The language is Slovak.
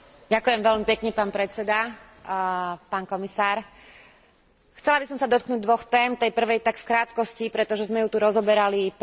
Chcela by som sa dotknúť dvoch tém, k tej prvej tak v krátkosti, pretože sme ju tu rozoberali pred dvoma týždňami na zasadnutí Parlamentu a týka sa práve riešenia rómskej problematiky.